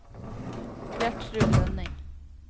Gjertrud Grønning